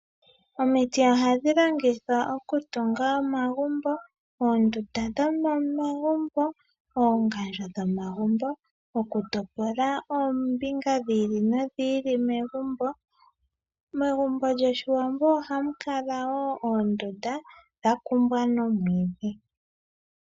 Omiti ohadhi longithwa okutunga omagumbo, oondunda dhomomagumbo, oongandjo dhomagumbo, okutopola oombinga dhi ili nodhi ili megumbo, megumbo lyoshiwambo ohamu kala wo oondunda, dhakumbwa nomwiidhi.